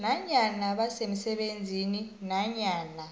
nanyana basemsebenzini nanyana